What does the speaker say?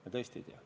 Me tõesti ei tea.